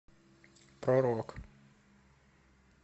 про рок